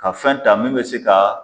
Ka fɛn ta min be se ka